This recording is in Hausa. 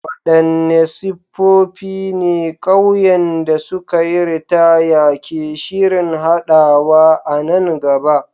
Wadanne siffofi ne ƙauyen da suka yi ritaya ke shirin haɗawa a nan gaba?